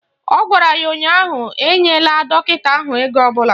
Ọ gwara ya ụnyaahụ "Enyela dọkịta ahụ ego ọbụla"!